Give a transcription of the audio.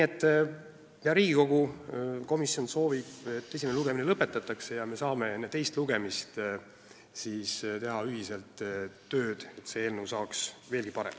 Hea Riigikogu, komisjon soovib, et esimene lugemine lõpetataks ja me saaksime enne teist lugemist teha ühiselt tööd, et see eelnõu saaks veelgi parem.